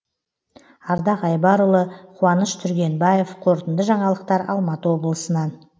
ардақ айбарұлы қуаныш түргенбаев қорытынды жаңалықтар алматы облысынан